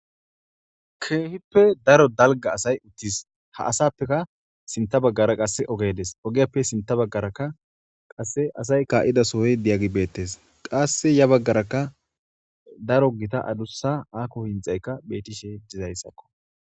Kehippe darro dalga asay uttis ha asappekka sinta baggara ogey dees ogiyyappe sintha bagarraqasse asay ka'dassoy diyagey bettesqassi yabagarra darro gitta adussa akko hinxxaykka bettes.